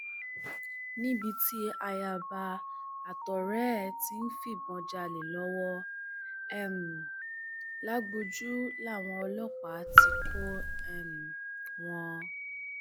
níbi tí ayaba àtọrẹ ẹ ti ń fìbọn jalè lọwọ um lagboju làwọn ọlọpàá ti kọ um wọn